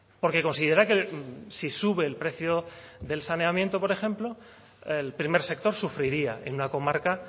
porque considera que si sube el precio del saneamiento por ejemplo el primer sector sufriría en una comarca